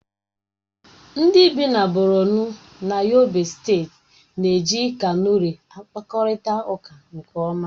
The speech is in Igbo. Ndị si Borọno na Yobe steeti na-eji kanuri akpakọrịta ụka nke ọma.